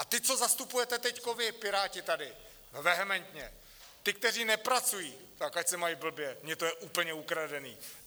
A ti, co zastupujete teď vy Piráti tady, vehementně, ty, kteří nepracují, tak ať se mají blbě, mně to je úplně ukradené.